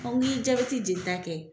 aw ye jabɛti jelita kɛ.